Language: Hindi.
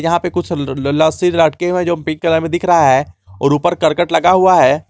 यहां पे कुछ ल ल लस्सी लटके हुए हैं जो पिंक कलर में दिख रहा है और ऊपर करकट लगा हुआ है।